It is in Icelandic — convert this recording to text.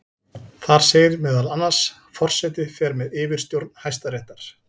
Þar segir meðal annars: Forseti fer með yfirstjórn Hæstaréttar.